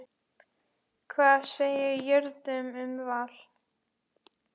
Hvað segir Jörundur um Val?